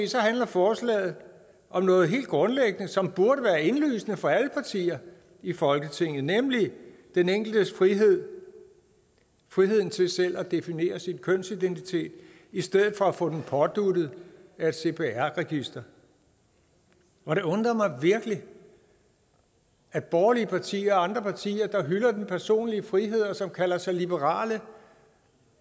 handler forslaget om noget helt grundlæggende som burde være indlysende for alle partier i folketinget nemlig den enkeltes frihed friheden til selv at definere sin kønsidentitet i stedet for at få den påduttet af et cpr register og det undrer mig virkelig at borgerlige partier og andre partier der hylder den personlige frihed og som kalder sig liberale